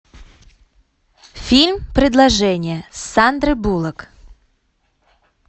фильм предложение с сандрой буллок